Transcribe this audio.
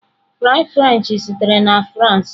Fries frenchị sitere na France.